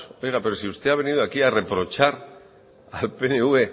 oiga pero si usted ha venido aquí a reprochar al pnv